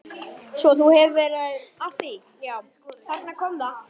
Svo þú hefur verið að því já, þarna kom það.